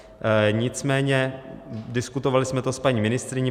Nicméně diskutovali jsme to s paní ministryní.